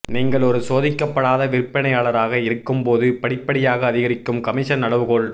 நீங்கள் ஒரு சோதிக்கப்படாத விற்பனையாளராக இருக்கும்போது படிப்படியாக அதிகரிக்கும் கமிஷன் அளவுகோல்